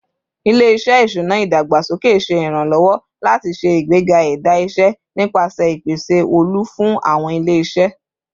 Ile-iṣẹ iṣuna idagbasoke ṣe iranlọwọ lati ṣe igbega ẹda iṣẹ nipasẹ ipese olu fun awọn ile-iṣẹ